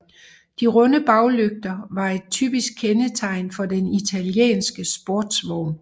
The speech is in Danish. De runde baglygter var et typisk kendetegn for den italienske sportsvogn